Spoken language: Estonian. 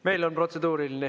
Meil on protseduuriline.